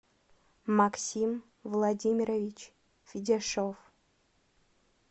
максим владимирович федяшов